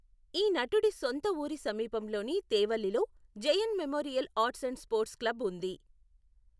ఈ నటుడి సొంత ఊరి సమీపంలోని తేవల్లిలో Jayan memorial arts and sports club ఉంది.